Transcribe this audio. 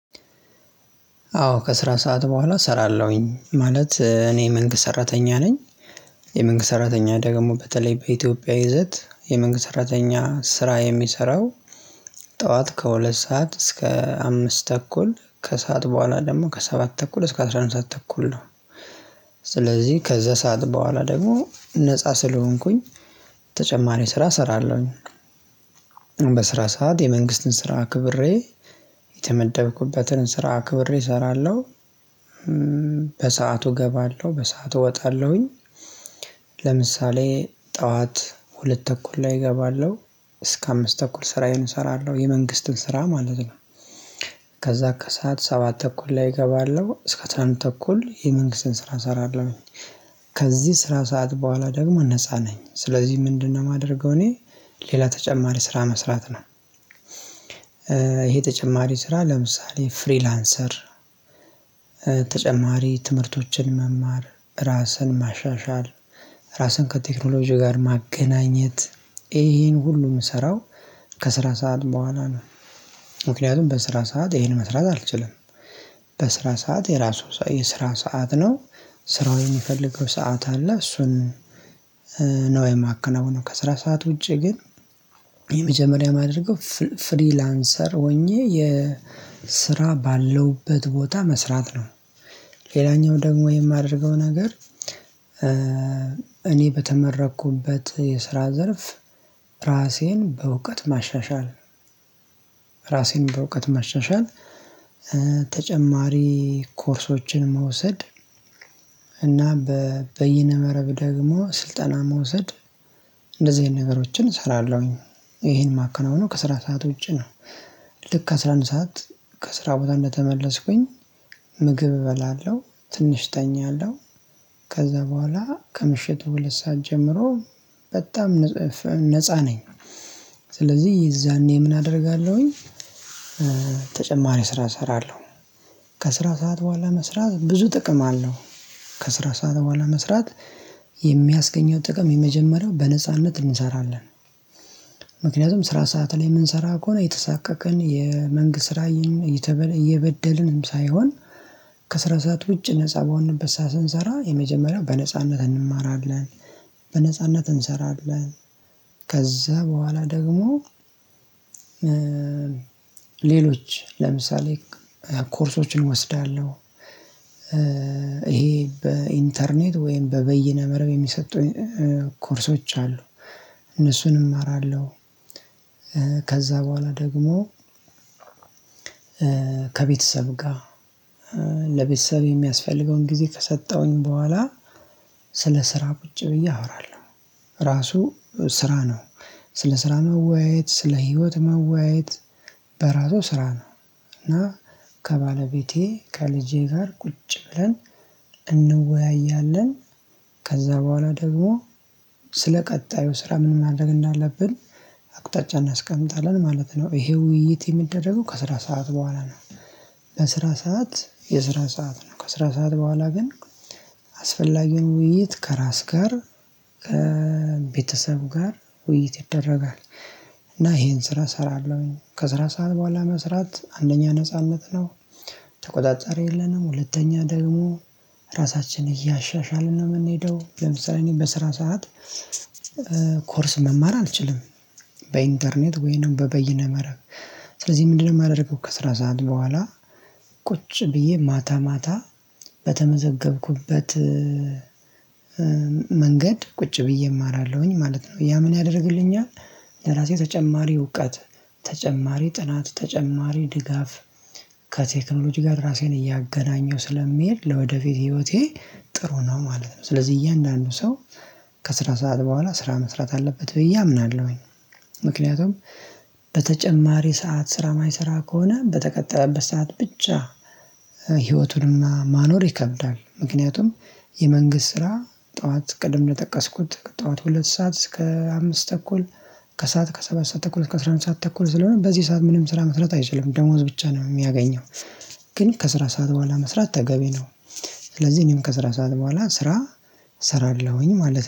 አዎ ከስራ ሰዓት በኋላ እሰራለሁኝ ማለት እኔ መንግስት ሰራተኛ ነኝ። የመንግስት ሰራተኛ ደግሞ በተለይ በኢትዮጵያ ይዘት የመንግስት ሰራተኛ ስራ የሚሰራው። ጠዋት ከሁለት ሰዓት እስከ አምስት ተኩል ከሰአት በኋላ ደግሞ ከሰባት ተኩል እስከ አስራ አንድ ሰዓት ተኩል ነው። ስለዚህ ከዛ ሰዓት በኋላ ደግሞ ነፃ ስለሆንኩኝ ተጨማሪ ስራ እሰራለሁኝ። በስራ ሰዓት የመንግስትን ስራ አክብሬ የተመደብኩበትን ስራ አክብሬ እሰራለሁ። በሰአቱ እገባለሁ በሰአቱ እወጣለሁኝ። ለምሳሌ ጠዋት ሁለት ተኩል ላይ እገባለሁ እስከ አምስት ተኩል ስራዬን እሰራለሁ የመንግስትን ስራ ማለት ነው። ከዛ ከሰአት ሰባት ተኩል ላይ እገባለሁ እስከ አስራ አንድ ተኩል የመንግስትን ስራ እሰራለሁኝ። ከዚህ ስራ ሰዓት በኋላ ደግሞ ነፃ ነኝ ስለዚህ ምንድነው የማደርገው እኔ? ሌላ ተጨማሪ ስራ መስራት ነው። ይሄ ተጨማሪ ስራ ለምሳሌ ፍሪላንሰር። ተጨማሪ ትምህርቶችን መማር ራስን ማሻሻል። ራስን ከቴክኖሎጂ ጋር ማገናኘት። ይሄን ሁሉ የምሰራው ከስራ ሰዓት በኋላ ነው። ምክንያቱም በስራ ሰዓት ይሄን መስራት አልችልም። በስራ ሰዓት የራሱ የስራ ሰዓት ነው። ስራው የሚፈልገው ሰዓት አለ እሱን። ነው የማከናውነው ከስራ ሰዓት ውጪ ግን። የመጀመሪያ የማደርገው ፍሪላንሰር ሆኜ የስራ ባለውበት ቦታ መስራት ነው። ሌላኛው ደግሞ የማደርገው ነገር እኔ በተመረኩበት የስራ ዘርፍ። ራሴን በእውቀት ማሻሻል ራሴን በእውቀት ማሻሻል። ተጨማሪ ኮርሶችን መውሰድ። በየነ መረብ ደግሞ ስልጠና መውሰድ። እንደዚህ አይነት ነገሮችን እሰራለሁኝ። ይሄን ማከናውነው ከስራ ሰዓት ውጪ ነው። ልክ አስራ አንድ ሰዓት ከስራ ቦታ እንደተመለስኩኝ ምግብ እበላለሁ። ትንሽ እተኛለሁ። ከዛ በኋላ ከምሽቱ ሁለት ሰዓት ጀምሮ በጣም ነፃ ነኝ። ስለዚህ የዛኔ ምን አደርጋለሁኝ? ተጨማሪ ስራ እሰራለሁ። ከስራ ሰዓት በኋላ መስራት ብዙ ጥቅም አለው። ከስራ ሰዓት በኋላ መስራት የሚያስገኘው ጥቅም የመጀመሪያው በነጻነት እንሰራለን። ምክንያቱም ስራ ሰዓት ላይ የምንሰራ ከሆነ እየተሳቀቅን የመንግስት ስራ እየበደልንም ሳይሆን። ከስራ ሰዓት ውጭ ነፃ በሆንበት ሰዓት ስንሰራ የመጀመሪያው በነጻነት እንማራለን። በነጻነት እንሰራለን። ከዛ በኋላ ደግሞ ሌሎች ለምሳሌ ኮርሶችን እወስዳለሁ። ይሄ በኢንተርኔት ወይም በበይነ መረብ የሚሰጡ ኮርሶች አሉ። እነሱንም እማራለሁ። ከዛ በኋላ ደግሞ ከቤተሰብ ጋር ለቤተሰብ የሚያስፈልገውን ጊዜ ከሰጠሁኝ በኋላ። ስለ ስራ ቁጭ ብዬ አወራለሁ። ራሱ ስራ ነው። ስለ ስራ መወያየት ስለ ህይወት መወያየት በራሱ ስራ ነው። እና ከባለቤቴ ከልጄ ጋር ቁጭ ብለን እንወያያለን። ከዛ በኋላ ደግሞ ስለ ቀጣዩ ስራ ምን ማድረግ እንዳለብን አቅጣጫ እናስቀምጣለን ማለት ነው ይሄ ውይይት የሚደረገው ከስራ ሰዓት በኋላ ነው። በስራ ሰዓት የስራ ሰዓት ነው ከስራ ሰዓት በኋላ ግን አስፈላጊውን ውይይት ከራስ ጋር ከቤተሰብ ጋር ውይይት ይደረጋል። እና ይሄን ስራ እሰራለሁኝ ከስራ ሰዓት በኋላ መስራት አንደኛ ነጻነት ነው። ተቆጣጣሪ የለንም ሁለተኛ ደግሞ ራሳችን እያሻሻልን ነው የምንሄደው ለምሳሌ እኔ በስራ ሰዓት ኮርስ መማር አልችልም። በኢንተርኔት ወይንም በበይነ መረብ። ስለዚህ ምንድነው የማደርገው ከስራ ሰዓት በኋላ። ቁጭ ብዬ ማታ ማታ በተመዘገብኩበት። መንገድ ቁጭ ብዬ እማራለሁኝ ማለት ነው ያ ምን ያደርግልኛል? ለራሴ ተጨማሪ እውቀት ተጨማሪ ጥናት ተጨማሪ ድጋፍ። ከቴክኖሎጂ ጋር ራሴን እያገናኘሁ ስለምሄድ ለወደፊት ህይወቴ ጥሩ ነው ማለት ነው። ስለዚህ እያንዳንዱ ሰው ከስራ ሰዓት በኋላ ስራ መስራት አለበት ብዬ አምናለሁኝ። ምክንያቱም በተጨማሪ ሰዓት ስራ የማይሰራ ከሆነ በተቀጠረበት ሰዓት ብቻ። ህይወቱን እና ማኖር ይከብዳል። ምክንያቱም የመንግስት ስራ ጠዋት ቅድም እንደጠቀስኩት ከጠዋት ሁለት ሰዓት እስከ አምስት ተኩል። ከሰአት ከሰባት ሰዓት ተኩል ከአስራ አንድ ሰዓት ተኩል ስለሆነ በዚህ ሰዓት ምንም ስራ መስራት አይችልም ደሞዝ ብቻ ነው የሚያገኘው። ግን ከስራ ሰዓት በኋላ መስራት ተገቢ ነው። ስለዚህ እኔም ከስራ ሰዓት በኋላ ስራ እሰራለሁኝ ማለት